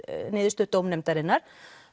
niðurstöðu dómnefndarinnar